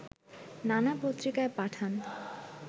নানা পত্রিকায় পাঠান